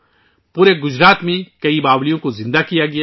پورے گجرات میں کئی باولیوں کو بحال کیا گیا ہے